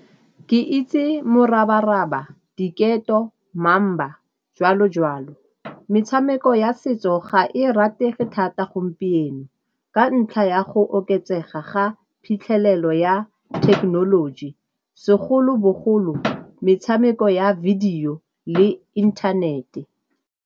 Ke itse morabaraba, diketo, mamba, jwalo-jwalo. Metshameko ya setso ga e ratege thata gompieno ka ntlha ya go oketsega ga phitlhelelo ya thekenoloji segolobogolo metshameko ya video le inthanete.